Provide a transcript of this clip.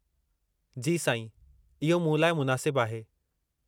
जी साईं, इहो मूं लाइ मुनासिबु आहे।